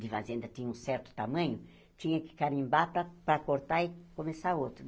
de fazenda tinha um certo tamanho, tinha que carimbar para para cortar e começar outro.